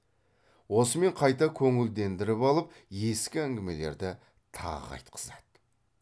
осымен қайта көңілдендіріп алып ескі әңгімелерді тағы айтқызады